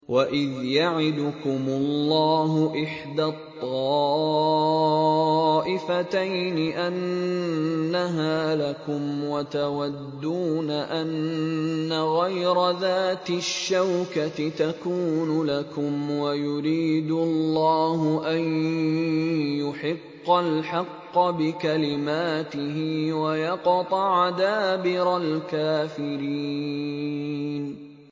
وَإِذْ يَعِدُكُمُ اللَّهُ إِحْدَى الطَّائِفَتَيْنِ أَنَّهَا لَكُمْ وَتَوَدُّونَ أَنَّ غَيْرَ ذَاتِ الشَّوْكَةِ تَكُونُ لَكُمْ وَيُرِيدُ اللَّهُ أَن يُحِقَّ الْحَقَّ بِكَلِمَاتِهِ وَيَقْطَعَ دَابِرَ الْكَافِرِينَ